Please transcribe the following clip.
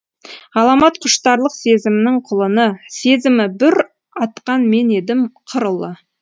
ғаламат құштарлық сезімнің құлыны сезімі бүр атқан мен едім қыр ұлы